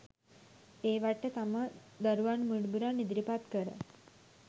ඒවාට තම දරුවන් මුණුබුරන් ඉදිරිපත් කර